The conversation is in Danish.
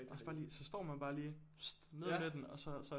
Også bare lige så står man bare lige ned med den og så så